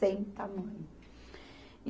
Sem tamanho. E